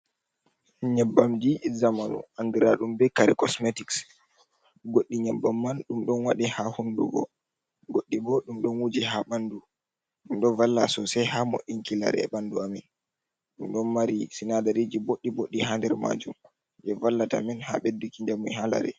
Nyabbamji zamanu andira ɗum be kare cosmetics goɗɗi nyabbam man ɗum ɗon wadi ha hundugo goɗɗi bo ɗum ɗon wuji ha ɓandu ɗum ɗon n valla sosai ha mo inkilare e ɓandu amin, ɗum ɗon mari sinadariji boɗɗi boɓɓi ha nder majum je vallata min ha ɓedduki njamu ha lare.